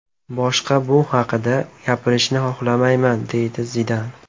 Boshqa bu haqda gapirishni xohlamayman”, deydi Zidan.